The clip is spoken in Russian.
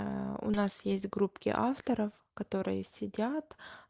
у нас есть группки авторов которые сидят